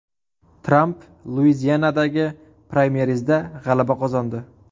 Tramp Luizianadagi praymerizda g‘alaba qozondi.